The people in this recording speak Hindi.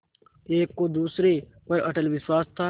एक को दूसरे पर अटल विश्वास था